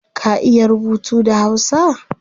Ka iya rubutu da hausa?